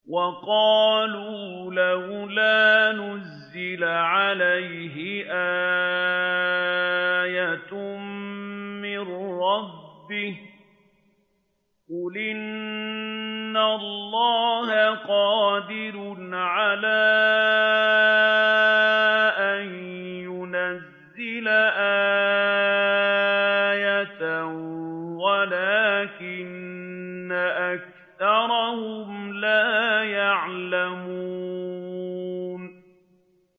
وَقَالُوا لَوْلَا نُزِّلَ عَلَيْهِ آيَةٌ مِّن رَّبِّهِ ۚ قُلْ إِنَّ اللَّهَ قَادِرٌ عَلَىٰ أَن يُنَزِّلَ آيَةً وَلَٰكِنَّ أَكْثَرَهُمْ لَا يَعْلَمُونَ